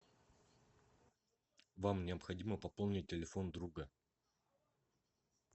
вам необходимо пополнить телефон друга